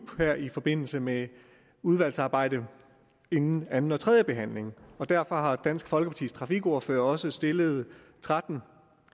her i forbindelse med udvalgsarbejdet inden anden og tredje behandling derfor har dansk folkepartis trafikordfører også stillet tretten